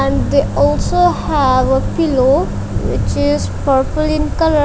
and they also have a pillow which is purple in colour.